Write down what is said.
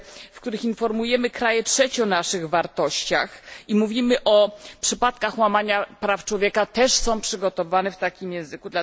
w których informujemy kraje trzecie o naszych wartościach i mówimy o przypadkach łamania praw człowieka, są przygotowywane w takim języku.